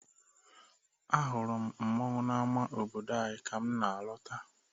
Ahụrụ m mmọnwụ n'ama obodo anyị ka m na-alọta.